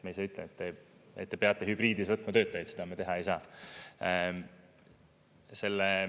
Me ei saa ütelda, et te peate hübriidis võtma töötajaid, seda me teha ei saa.